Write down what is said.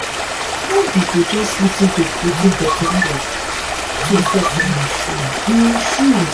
no be to just lis ten to wetin pesin talk put yourself for em shoe. em shoe.